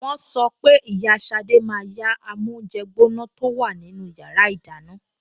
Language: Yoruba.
Wọ́n sọ pé ìyá Ṣadé máa yá amóúnjẹgbóná tó wà nínú yàrá ìdáná